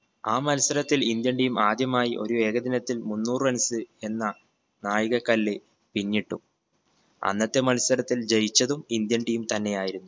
ആ മത്സരത്തിൽ indian team ആദ്യമായി ഒരു ഏകദിനത്തിൽ മുന്നൂറ് runs എന്ന നാഴികക്കല്ല് പിന്നിട്ടു. അന്നത്തെ മത്സരത്തിൽ ജയിച്ചതും indian team തന്നെ ആയിരുന്നു.